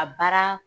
A baara